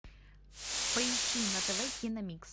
поищи на тв киномикс